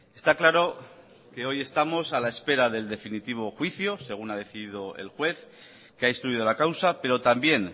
está claro que hoy estamos a la espera del definitivo juicio según ha decidido el juez que ha instruido la causa pero también